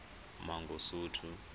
mangosuthu